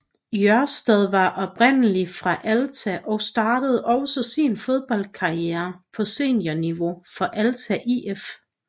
Jørstad var oprindelig fra Alta og startede også sin fodboldkarriere på seniorniveau for Alta IF